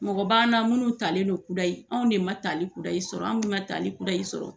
Mɔgɔ b'an na minnu talen don kudayi, anw de ma talikudayi sɔrɔ, anw mun ma talikudayi sɔrɔ